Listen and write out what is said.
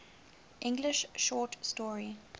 english short story